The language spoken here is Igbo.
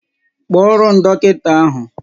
Kpọọrọ m dọkịnta ahụ!